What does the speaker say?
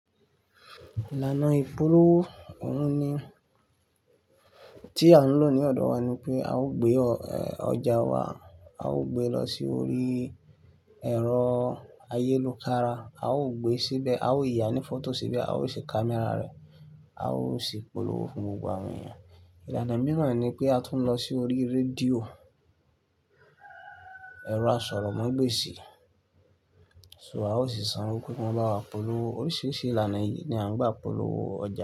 Ìlànà ìpolówó òun ní tí à ń lò ní ọ̀dọ̀ wa ni pé a ó gbé ọjà wa, a ó gbé lọ sí orí ẹ̀rọ ayélujara, a ó gbé síbẹ̀, a ó yànní fọ́tò síbẹ̀, a ó ṣe kamera rẹ̀, a ó sì polówó fún gbogbo àwọn èèyàn. Ìlànà mìíràn ni pé a tún lọ sí orí rédíò, ẹ̀rọ àsọ̀rọ̀mágbèsì, so a ó sì san owó pe ki won ba wa polówó. Oríṣiríṣi ìlànà yìí ni à ń gba polówó ọjà.